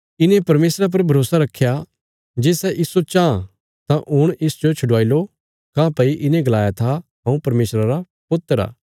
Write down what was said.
इने परमेशरा पर भरोसा रखया जे सै इस्सो चाँह तां हुण इसजो छडवाई लो काँह्भई इने गलाया था हऊँ परमेशरा रा पुत्र आ